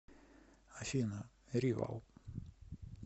афина ривал